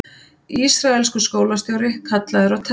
Ísraelskur skólastjóri kallaður á teppið